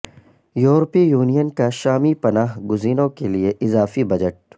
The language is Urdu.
یورپی یونین کا شامی پناہ گزینوں کے لیے اضافی بجٹ